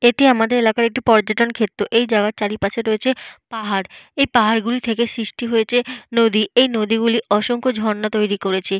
এটি আমাদের এলাকার পর্যটন ক্ষেত্র। এই জায়গার চারিপাশে রয়েছে পাহাড়। এই পাহাড়গুলি থেকে সৃষ্টি হয়েছে নদী। এই নদীগুলি অসংখ্য ঝর্ণা তৈরি করেছে।